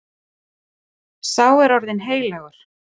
Sá er orðinn heilagur.